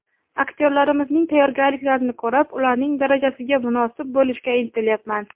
Aktyorlarimizning tayyorgarliklarini ko‘rib, ularning darajasiga munosib bo‘lishga intilyapman.